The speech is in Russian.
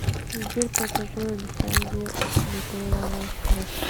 сбер под какой лицензией опубликовано флеш